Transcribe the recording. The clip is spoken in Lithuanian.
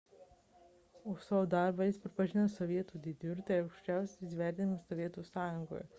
už savo darbą jis pripažintas sovietų sąjungos didvyriu – tai aukščiausias įvertinimas sovietų sąjungoje